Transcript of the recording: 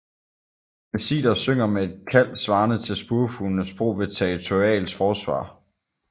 Mesiter synger med et kald svarende til spurvefugles brug ved territorialt forsvar